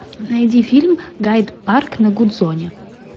найди фильм гайд парк на гудзоне